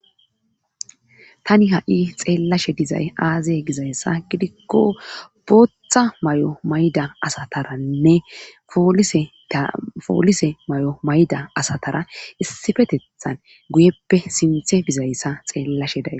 tani ha7i xeellashe dizay aazeye gizayssa gidikko bootha may7o mayda asataranne poolise may7o mayda asatara issifetethan guyeppe sinthe bizayssa xeellashe daye